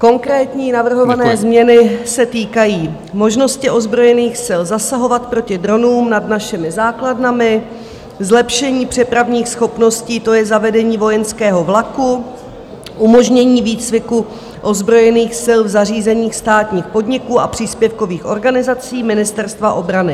Konkrétní navrhované změny se týkají možnosti ozbrojených sil zasahovat proti dronům nad našimi základnami, zlepšení přepravních schopností, to je zavedení vojenského vlaku, umožnění výcviku ozbrojených sil v zařízeních státních podniků a příspěvkových organizací Ministerstva obrany.